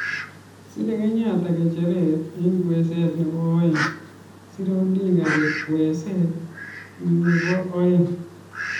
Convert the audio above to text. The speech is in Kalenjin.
A) Sire Kenyatta ngecheret eng kweeset nebo aeng. B) Sire Odinga eng kweeset no bo aeng.